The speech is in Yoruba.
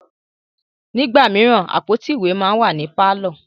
Nígbà míràn, àpótí ìwé máa ń wà ní pàlọ́